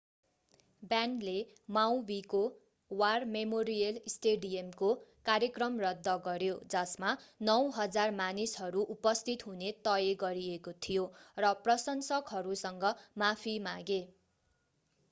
ब्यान्डले माउवीको war memorial स्टेडियमको कार्यक्रम रद्द गर्‍यो जसमा 9,000 मानिसहरू उपस्थित हुने तय गरिएको थियो र प्रशंसकहरूसँग माफी मागे।